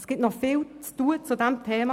Es gibt noch viel zu tun bei diesem Thema.